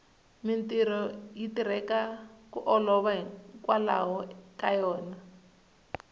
mintirho yi tirheka ku olova hikwalaho ka yona